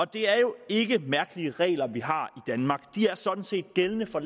det er jo ikke mærkelige regler vi har danmark de er sådan set gældende for